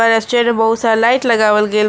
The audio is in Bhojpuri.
में बहुत सारा लाइट लगावल गइल बा।